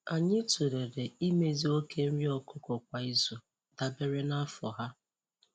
Anyị tụlere imezi oke nri ọkụkọ kwa izu dabere na afọ ha.